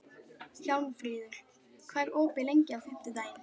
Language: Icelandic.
Hjálmfríður, hvað er opið lengi á fimmtudaginn?